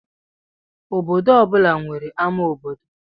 Obodo ọ bụla nwere ama obodo